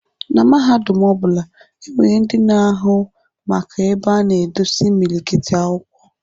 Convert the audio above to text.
Na mahadum ọ bụla, e nwere ndị na-ahụ maka ebe a na-edosi imilikiti akwụkwọ.